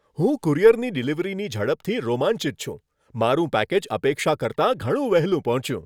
હું કુરિયરની ડિલિવરીની ઝડપથી રોમાંચિત છું. મારું પેકેજ અપેક્ષા કરતાં ઘણું વહેલું પહોંચ્યું!